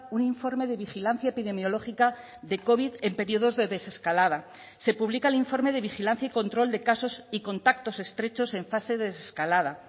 un informe de vigilancia epidemiológica de covid en periodos de desescalada se publica el informe de vigilancia y control de casos y contactos estrechos en fase de escalada